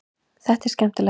Þetta er skemmtilegt.